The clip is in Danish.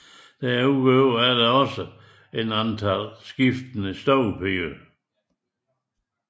Derudover er der også et antal skiftende stuepiger